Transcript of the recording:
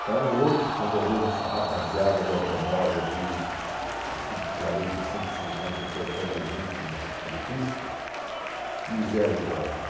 Então, hoje, quando eu vejo essa rapaziada de automóvel aí, a cento e quarenta, cento e cinquenta, cortando a gente na na pista, me gela o coração.